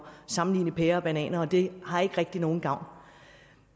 sammenligne pærer og bananer og det har ikke rigtig nogen gavn